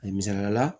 A misaliya la